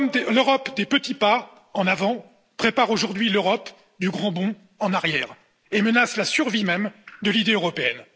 L'Europe des petits pas en avant prépare aujourd'hui l'Europe du grand bond en arrière et menace la survie même de l'idée européenne.